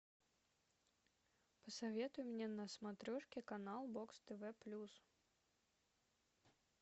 посоветуй мне на смотрешке канал бокс тв плюс